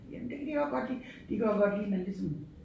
Jamen det kan de også godt lide de kan også godt lide man ligesom